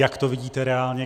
Jak to vidíte reálně?